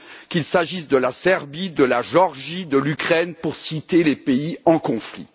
qu'il s'agisse de la Serbie, de la Géorgie ou de l'Ukraine, pour citer les pays en conflit.